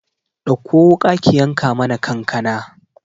Ɗakko wuƙa ki yanka mana kankana